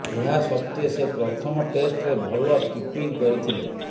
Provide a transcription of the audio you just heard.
ଏହା ସତ୍ତ୍ୱେ ସେ ପ୍ରଥମ ଟେଷ୍ଟରେ ଭଲ କିପିଙ୍ଗ୍ କରିଥିଲେ